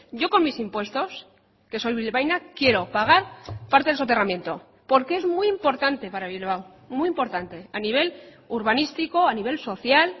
yo con mis impuestos que soy bilbaína quiero pagar parte del soterramiento porque es muy importante para bilbao muy importante a nivel urbanístico a nivel social